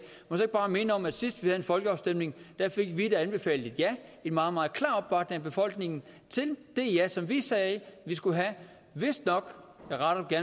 må jeg bare minde om at sidst vi havde en folkeafstemning fik vi et anbefalet ja en meget meget klar opbakning fra befolkningen til det ja som vi sagde vi skulle have vistnok jeg retter det